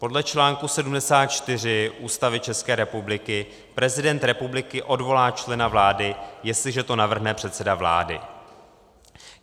Podle článku 74 Ústavy České republiky prezident republiky odvolá člena vlády, jestliže to navrhne předseda vlády.